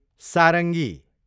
सारङ्गी